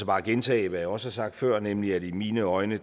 bare gentage hvad jeg også har sagt før nemlig at i mine øjne